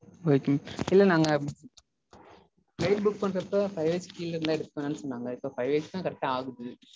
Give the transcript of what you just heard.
Okay இல்ல நாங்க flight book பண்றப்போ five years க்கு கீழ இருந்தா எடுக்க வேண்டாம்னு சொன்னாங்க. இப்போ five years தா correct ஆ ஆகுது.